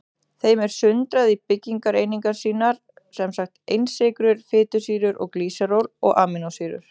Þeim er sundrað í byggingareiningar sínar, sem sagt einsykrur, fitusýrur og glýseról og amínósýrur.